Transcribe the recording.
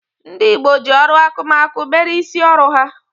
Ndị gboo ji ọrụ akụmakụ mere isi ọrụ ha.